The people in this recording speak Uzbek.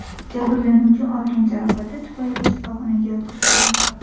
Jabrlanuvchi olgan jarohati tufayli shifoxonaga yotqizildi.